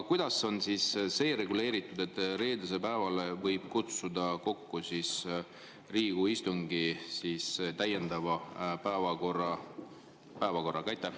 Kuidas on reguleeritud see, et reedeseks päevaks võib kutsuda kokku Riigikogu istungi täiendava päevakorraga?